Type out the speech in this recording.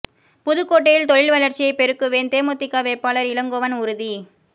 புதுக்கோட்டையில் தொழில் வளர்ச்சியை பெருக்குவேன் தேமுதிக வேட்பாளர் இளங்கோவன் உறுதி